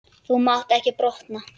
Þú mátt ekki brotna.